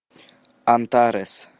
антарес